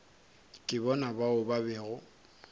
ke bona bao ba bego